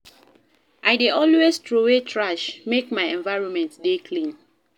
I dey always troway trash, make my environment dey clean.